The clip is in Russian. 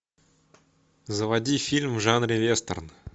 заводи фильм в жанре вестерн